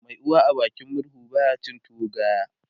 Mai uwa a bakin murhu baya cin tuwo gaya